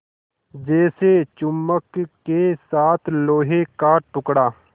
जैसे चुम्बक के साथ लोहे का टुकड़ा